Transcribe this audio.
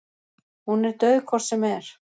Hún er dauð hvort sem er.